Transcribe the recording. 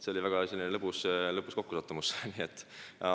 See oli väga lõbus kokkusattumus.